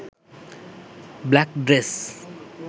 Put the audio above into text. black dress